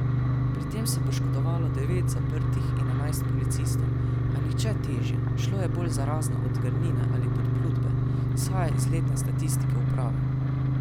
Pri tem se je poškodovalo devet zaprtih in enajst policistov, a nihče težje, šlo je bolj za razne odrgnine ali podplutbe, izhaja iz letne statistike uprave.